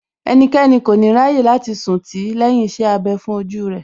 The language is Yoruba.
Ẹnikẹ́ni kò ní ráyè láti sùn tì í lẹ́yìn iṣẹ́ abẹ fún ojú rẹ̀